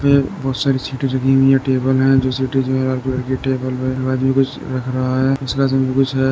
बहुत सारी सीटें लगी हुई हैं। टेबल हैं जो सीट आदमी कुछ रख रहा है। में कुछ है।